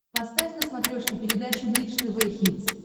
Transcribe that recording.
поставь на смотрешке передачу бридж тв хитс